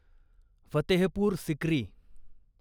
Fatehpur Sikri